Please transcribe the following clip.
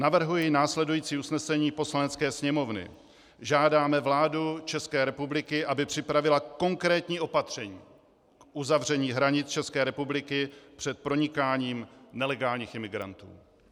Navrhuji následující usnesení Poslanecké sněmovny: Žádáme vládu České republiky, aby připravila konkrétní opatření k uzavření hranic České republiky před pronikáním nelegálních imigrantů.